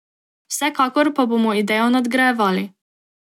Vsekakor pa bomo idejo nadgrajevali.